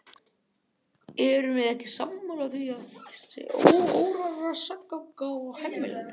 Erum við ekki sammála því að það sé óróaseggur á heimilinu!